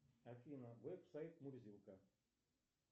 афина веб сайт мурзилка